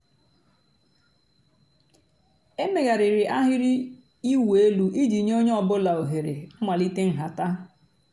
èméghàrị́rị́ àhị́rị́ ị̀wụ́ èlú ìjì nyé ónyé ọ̀ bụ́là òhèré m̀màlíté ǹhàtá.